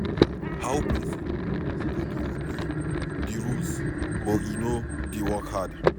How person go dey obey the rules but e no dey work hard?